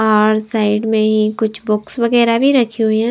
और साइड में ही कुछ बुक्स वगैरह भी रखी हुई हैं।